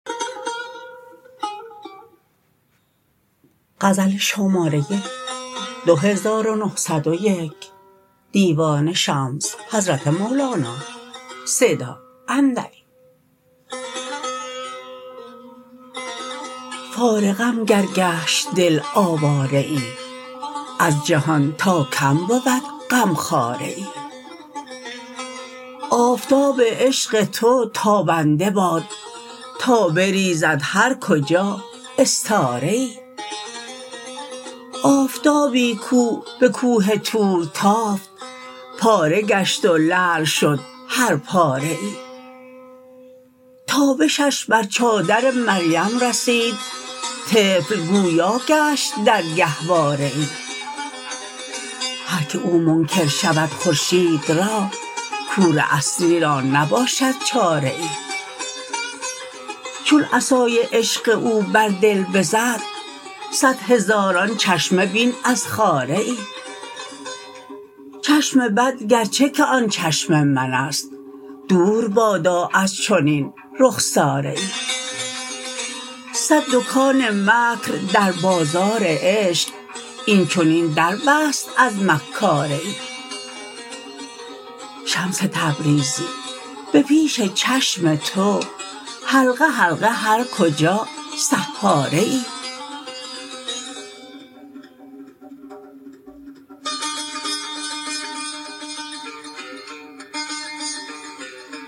فارغم گر گشت دل آواره ای از جهان تا کم بود غمخواره ای آفتاب عشق تو تابنده باد تا بریزد هر کجا استاره ای آفتابی کو به کوه طور تافت پاره گشت و لعل شد هر پاره ای تابشش بر چادر مریم رسید طفل گویا گشت در گهواره ای هر کی او منکر شود خورشید را کور اصلی را نباشد چاره ای چون عصای عشق او بر دل بزد صد هزاران چشمه بین از خاره ای چشم بد گرچه که آن چشم من است دور بادا از چنین رخساره ای صد دکان مکر در بازار عشق این چنین در بست از مکاره ای شمس تبریزی به پیش چشم تو حلقه حلقه هر کجا سحاره ای